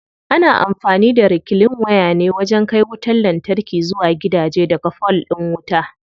Ana amfani da reclean waya ne wajen kai wutar lantarki zuwa gidaje daga fol din wuta.